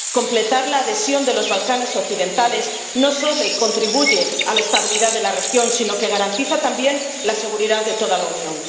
Completar la adhesión de los Balcanes occidentales no solo contribuye a la estabilidad de la región, sino que garantiza también la seguridad de toda la Unión.